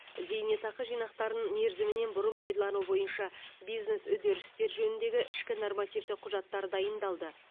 зейнетақы жинақтарын мерзімінен бұрын пайдалану бойынша бизнес үдерістер жөніндегі ішкі нормативтік құжаттар дайындалды